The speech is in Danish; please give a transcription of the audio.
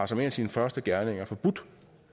som en af sine første gerninger har forbudt